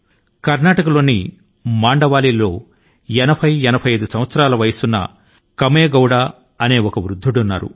కర్నాటక లోని మండావలీ లో 8085 ఏళ్ల కామెగౌడ అనే వ్యక్తి ఉన్నారు